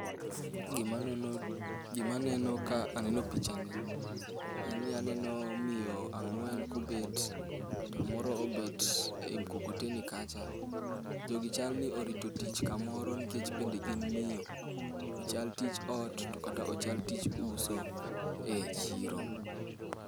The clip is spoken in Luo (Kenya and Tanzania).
Gima aneno ka aneno picha ni en ni aneno miyo ang'wen kobet to moro obet e mukokoteni kacha. Jogi chal ni orito tich kamoro nikech bende gin miyo, ochal tich ot, to kata tich uso e chiro.